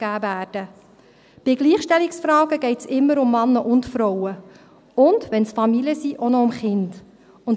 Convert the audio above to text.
Bei Gleichstellungfragen geht es immer um Männer und Frauen – und wenn es Familien sind, auch noch um Kinder.